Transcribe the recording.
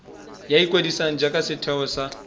ya ikwadiso jaaka setheo sa